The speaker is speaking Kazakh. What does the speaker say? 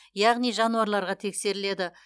яғни жануарларға тексеріледі